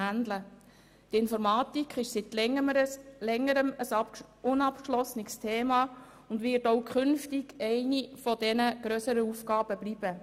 Die Informatik ist seit Längerem ein unabgeschlossenes Thema, und sie wird auch künftig eine der grösseren Aufgaben bleiben.